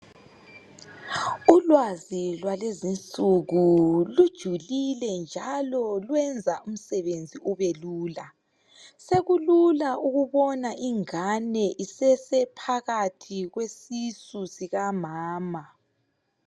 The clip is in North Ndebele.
ulwazi lwalwezinsuku kujulile njalo luyenza umsebenzi ubelula sokulula ukubona ingane isesephakathi kwesisu sikamama